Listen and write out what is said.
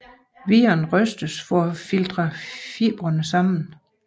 Viren rystes for at filtre fibrene sammen